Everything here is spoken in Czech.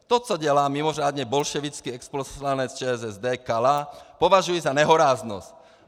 To, co dělá mimořádně bolševický exposlanec ČSSD Kala, považuji za nehoráznost.